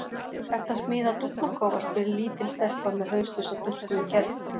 Ertu að smíða dúfnakofa? spyr lítil stelpa með hauslausa dúkku í kerru.